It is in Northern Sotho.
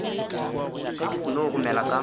ge ke seno gomela ka